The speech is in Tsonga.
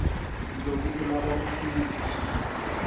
loko u lava ku fika